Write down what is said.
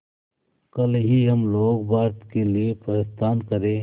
कल ही हम लोग भारत के लिए प्रस्थान करें